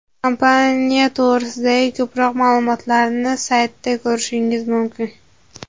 Kompaniya to‘g‘risidagi ko‘proq ma’lumotlarni saytida ko‘rishingiz mumkin!